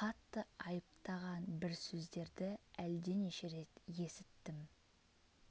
қатты айыпттаған бір сөздерді әлденеше рет есіттім